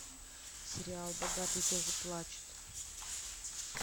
сериал богатые тоже плачут